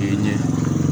ɲɛ